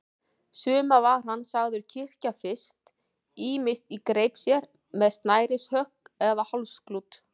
Suma var hann sagður kyrkja fyrst, ýmist í greip sér, með snærishönk eða með hálsklút.